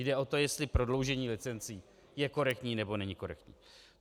Jde o to, jestli prodloužení licencí je korektní, nebo není korektní.